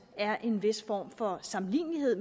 er en vis form for sammenlignelighed